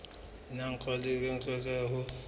la nakwana le lokelwang ho